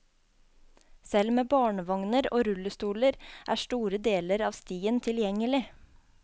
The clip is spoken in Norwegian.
Selv med barnevogner og rullestoler er store deler av stien tilgjengelig.